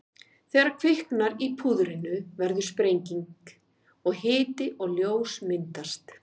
Þegar kviknar í púðrinu verður sprenging og hiti og ljós myndast.